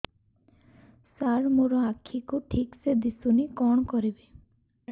ସାର ମୋର ଆଖି କୁ ଠିକସେ ଦିଶୁନି କଣ କରିବି